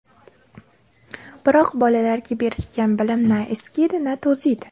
Biroq bolalarga berilgan bilim na eskiydi, na to‘ziydi.